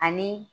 Ani